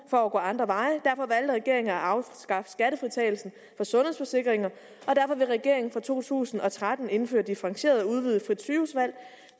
for at gå andre veje derfor valgte regeringen at afskaffe skattefritagelse for sundhedsforsikringer og derfor vil regeringen fra to tusind og tretten indføre differentieret udvidet frit sygehusvalg